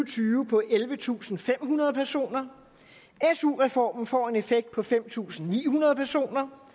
tyve på ellevetusinde og femhundrede personer su reformen får en effekt på fem tusind ni hundrede personer